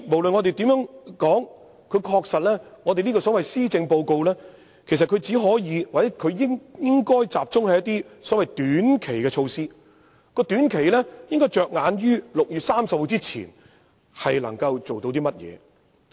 所以，無論如何，這份施政報告確實只可或應該集中於一些短期的措施，意思是應着眼於能夠在6月30日之前完成的事項。